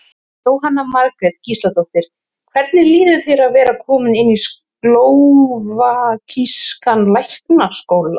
Jóhanna Margrét Gísladóttir: Hvernig líður þér að vera kominn inn í slóvakískan læknaskóla?